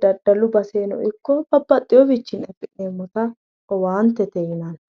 daddalu basennino ikko babbaxxewiichinni afi'neemmota owaante yinanni.